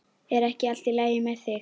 Er ekki allt lagi með þig?